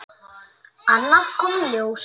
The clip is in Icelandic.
Annað kom í ljós.